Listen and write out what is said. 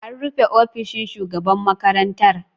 An rufe ofishin shugaban makarantar.